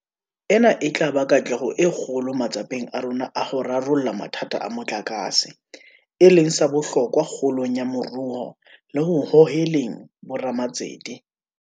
Ena e tla ba katleho e kgolo matsapeng a rona a ho rarolla mathata a motlakase, e leng sa bohlokwa kgolong ya moruo le ho hoheleng bo ramatsete.